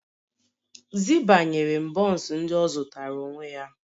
Zibah ​​nyere m buns ndị ọ zụtara onwe ya